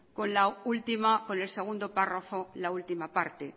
con el segundo párrafo la última parte